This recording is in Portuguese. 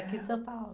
Aqui de São Paulo.